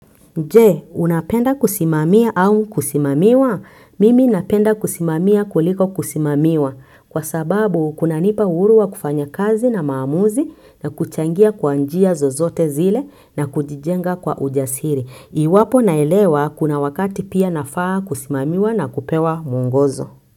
Je, unapenda kusimamia au kusimamiwa? Mimi napenda kusimamia kuliko kusimamiwa kwa sababu kunanipa uhuru wa kufanya kazi na maamuzi na kuchangia kwa njia zozote zile na kujijenga kwa ujasiri. Iwapo naelewa kuna wakati pia nafaa kusimamiwa na kupewa mwongozo.